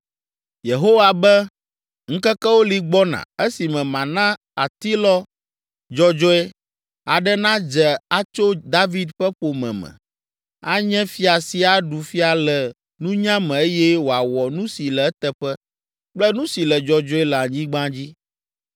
Yehowa be, “Ŋkekewo li gbɔna esime mana atilɔ dzɔdzɔe, aɖe nadze atso David ƒe ƒome me, anye fia si aɖu fia le nunya me eye wòawɔ nu si le eteƒe kple nu si le dzɔdzɔe le anyigba dzi.